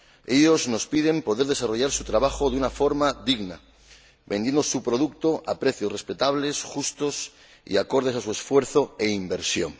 Ellos nos piden poder desarrollar su trabajo de una forma digna, vendiendo sus productos a precios respetables, justos y acordes a su esfuerzo e inversión.